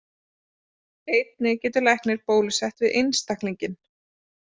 Einnig getur læknir bólusett einstaklinginn.